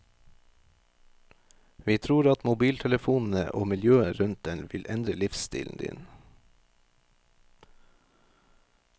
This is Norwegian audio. Vi tror at mobiltelefonene og miljøet rundt den vil endre livsstilen din.